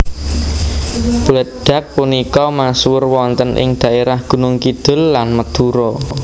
Bledag punika masuwur wonten ing daerah Gunung Kidul lan Madura